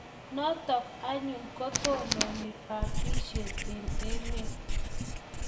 Notok anyun ko tononi batishet eng' emet